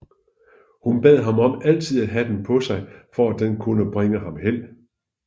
Hun bad ham om altid at have den på sig for at den kunne bringe ham held